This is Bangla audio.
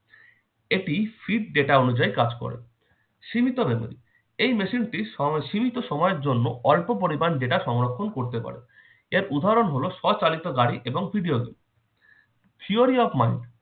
এটি feed data অনুযায়ী কাজ করে। সীমিত memory এই machine টি সম~ সীমিত সময়ের জন্য অল্প পরিমান data সংরক্ষণ করতে পারে। এর উদাহরণ হল- সচালিত গাড়ি এবং theory of mind